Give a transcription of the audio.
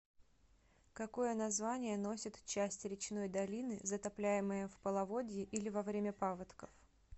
какое название носит часть речной долины затопляемая в половодье или во время паводков